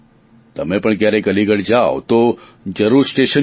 તમે પણ ક્યારેક અલીગઢ જાવ તો જરૂર સ્ટેશન જોજો